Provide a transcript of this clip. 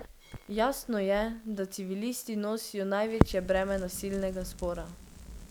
Jasno je, da civilisti nosijo največje breme nasilnega spora.